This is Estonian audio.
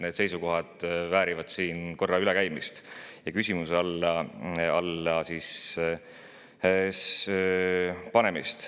Need seisukohad väärivad siin korra ülekäimist ja küsimuse alla panemist.